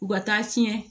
U ka taa tiɲɛ